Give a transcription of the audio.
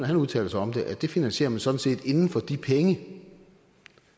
han udtaler sig om det at det finansierer man sådan set inden for de penge